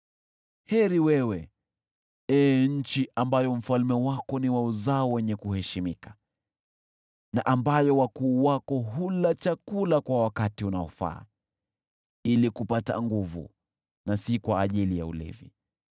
Heri wewe, ee nchi ambayo mfalme wako ni wa uzao wenye kuheshimika na ambayo wakuu wako hula chakula kwa wakati unaofaa: ili kupata nguvu na si kwa ajili ya ulevi.